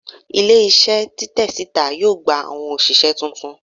Ile-iṣẹ titẹ sita yoo gba awọn oṣiṣẹ tuntun